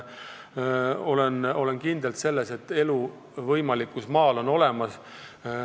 Olen kindel selles, et elu maal on võimalik.